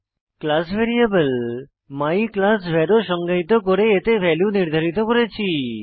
class variable my class var ও সংজ্ঞায়িত করে এতে ভ্যালু নির্ধারিত করেছি